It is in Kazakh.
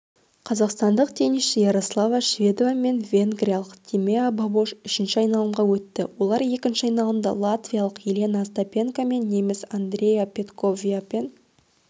қазақстандық теннисші ярослава шведова мен венгриялық тимеа бабош үшінші айналымға өтті олар екінші айналымда латвиялық елена остапенко мен неміс андреа петковияпен